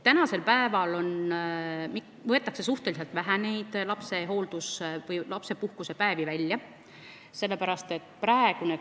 Praegu võetakse neid lapsepuhkusepäevi suhteliselt vähe välja.